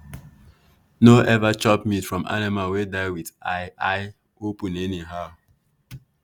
no ever chop meat from animal wey die with eye eye open anyhow.